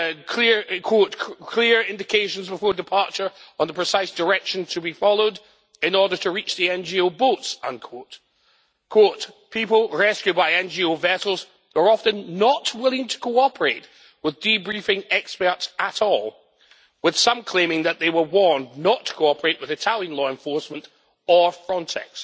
clear indications before departure on the precise direction to be followed in order to reach the NGO boats' people rescued by NGO vessels were often not willing to cooperate with debriefing experts at all, with some claiming that they were warned not to cooperate with Italian law enforcement or Frontex.'